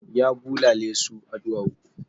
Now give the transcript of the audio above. Ya bulale su a ɗuwawu.